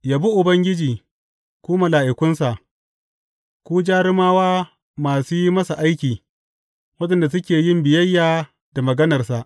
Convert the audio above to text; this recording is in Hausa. Yabi Ubangiji, ku mala’ikunsa, ku jarumawa masu yi masa aiki, waɗanda suke yin biyayya da maganarsa.